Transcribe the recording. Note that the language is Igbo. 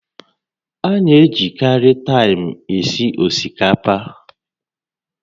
A na-ejikarị taịm esi osikapa